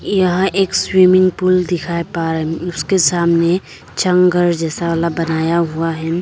यहां एक swimming pool दिखाई पा रहे उसके सामने चंग घर जैसा वाला बनाया हुआ है।